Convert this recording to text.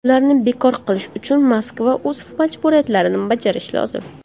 Ularni bekor qilish uchun Moskva o‘z majburiyatlarini bajarishi lozim.